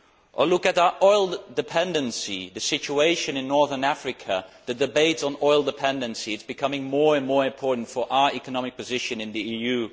Or look at our oil dependency and the situation in northern Africa the debate on oil dependency is becoming more and more important for our economic position in the EU.